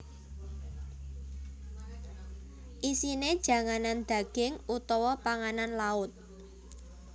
Isine janganan daging utawa panganan laut